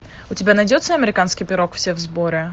у тебя найдется американский пирог все в сборе